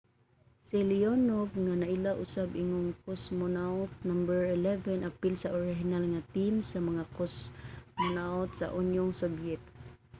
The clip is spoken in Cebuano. si leonov nga naila usab ingong cosmonaut no. 11 apil sa orihinal nga team sa mga cosmonaut sa unyong sobyet